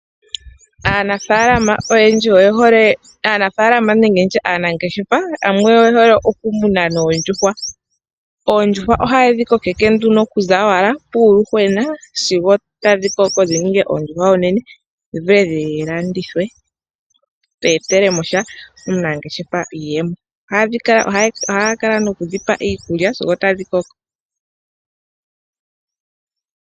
Aanafaalama nenge aanangeshefa yamwe oye hole okumuna oondjuhwa. Oondjuhwa ohaye dhi kokeke okuza kuuyuhwena sigo tadhi koko dhi ninge oondjuhwa oonene dhi vule dhi landithwe dhi etele omunangeshefa iiyemo. Ohaya kala nokudhi pa iikulya sigo otadhi koko.